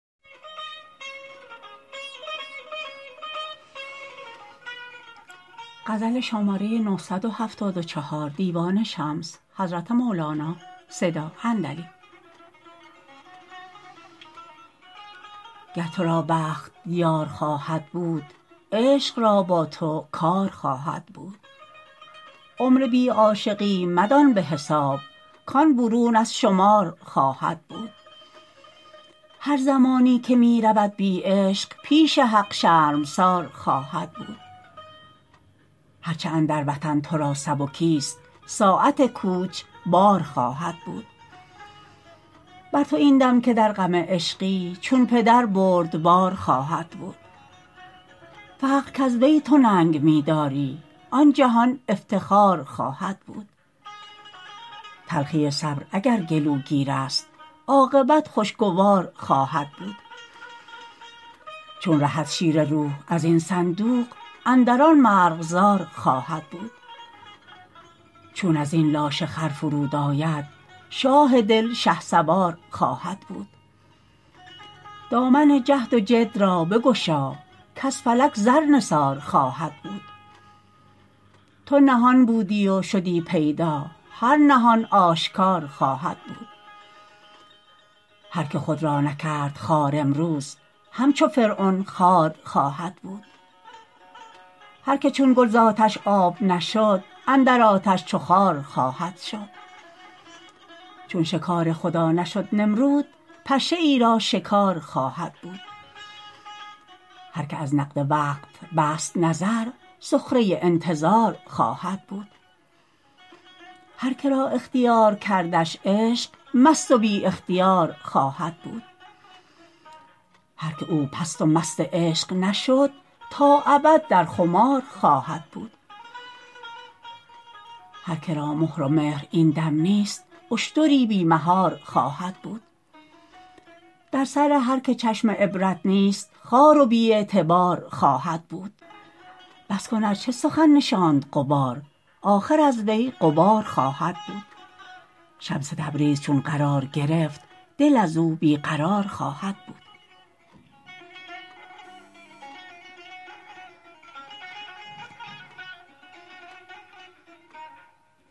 گر تو را بخت یار خواهد بود عشق را با تو کار خواهد بود عمر بی عاشقی مدان به حساب کان برون از شمار خواهد بود هر زمانی که می رود بی عشق پیش حق شرمسار خواهد بود هر چه اندر وطن تو را سبکست ساعت کوچ بار خواهد بود بر تو این دم که در غم عشقی چون پدر بردبار خواهد بود فقر کز وی تو ننگ می داری آن جهان افتخار خواهد بود تلخی صبر اگر گلوگیر است عاقبت خوشگوار خواهد بود چون رهد شیر روح از این صندوق اندر آن مرغزار خواهد بود چون از این لاشه خر فرود آید شاه دل شهسوار خواهد بود دامن جهد و جد را بگشا کز فلک زر نثار خواهد بود تو نهان بودی و شدی پیدا هر نهان آشکار خواهد بود هر کی خود را نکرد خوار امروز همچو فرعون خوار خواهد بود هر که چون گل ز آتش آب نشد اندر آتش چو خار خواهد بود چون شکار خدا نشد نمرود پشه ای را شکار خواهد بود هر که از نقد وقت بست نظر سخره ای انتظار خواهد بود هر که را اختیار کردش عشق مست و بی اختیار خواهد بود هر که او پست و مست عشق نشد تا ابد در خمار خواهد بود هر که را مهر و مهر این دم نیست اشتری بی مهار خواهد بود در سر هر که چشم عبرت نیست خوار و بی اعتبار خواهد بود بس کن ار چه سخن نشاند غبار آخر از وی غبار خواهد بود شمس تبریز چون قرار گرفت دل از او بی قرار خواهد بود